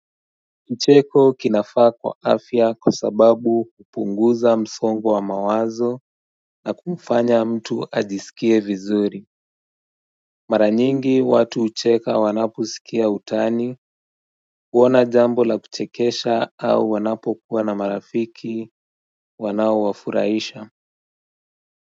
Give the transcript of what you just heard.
Kicheko kinafaa kwa afya kwa sababu kupunguza msongwa wa mawazo na kumfanya mtu ajisikie vizuri Mara nyingi watu ucheka wanapusikia utani kuona jambo la kuchekesha au wanapo kuwa na marafiki wanau wafuraisha.